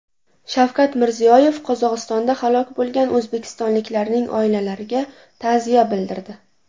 Shavkat Mirziyoyev Qozog‘istonda halok bo‘lgan o‘zbekistonliklarning oilalariga ta’ziya bildirdi.